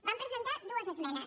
vam presentar dues esmenes